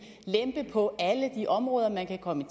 lempe på alle de områder man kan komme i